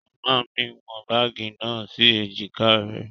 Màmá mí wọ bagi náà si ejika rẹ